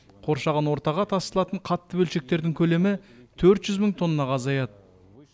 қоршаған ортаға тасталатын қатты бөлшектердің көлемі төрт жүз мың тоннаға азаяды